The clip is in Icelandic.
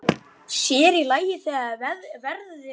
Sér í lagi þegar verðið hækkaði.